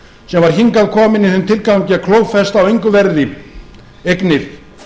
sem var hingað kominn í þeim tilgangi að klófesta á engu verði eignir